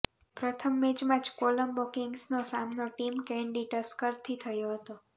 પ્રથમ મેચમાં જ કોલંબો કિંગ્સનનો સામનો ટીમ કેંડી ટસ્કરથી થયો હતો